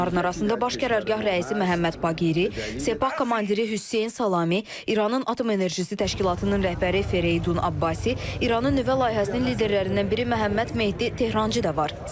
Onların arasında Baş Qərargah rəisi Məhəmməd Baqiri, Sepah komandiri Hüseyn Salami, İranın Atom Enerjisi Təşkilatının rəhbəri Fereydun Abbasi, İranın nüvə layihəsinin liderlərindən biri Məhəmməd Mehdi Tehrançı da var.